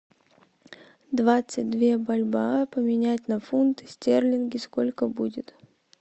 двадцать две бальбоа поменять на фунты стерлинги сколько будет